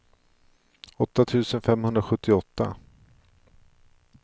åtta tusen femhundrasjuttioåtta